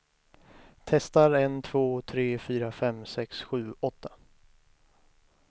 Testar en två tre fyra fem sex sju åtta.